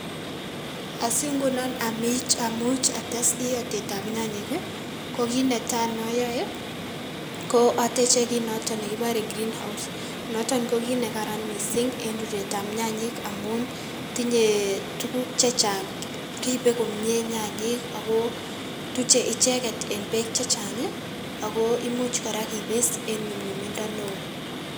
Asi ngunon amin amuch ates iyoitetab nyanyik ii ko kit netai noyoe ko oteche kit noton nekibore green house noton ko kit nekaran missing' en ruretab nyanyik amun tinye tuguk chechang', ripe komie nyanyik ago tuche icheket en beek chechang' ago imuch kora kipis en nyumnyumindo neo .